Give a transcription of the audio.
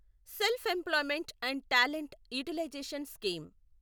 self employment and talent utilization scheme